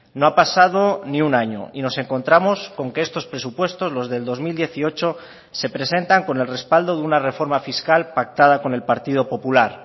no ha pasado ni un año y nos encontramos con que estos presupuestos los del dos mil dieciocho se presentan con el respaldo de una reforma fiscal pactada con el partido popular